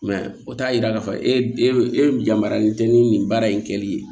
o t'a yira k'a fɔ e e yamaruyalen tɛ ni baara in kɛli ye